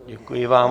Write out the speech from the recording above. Děkuji vám.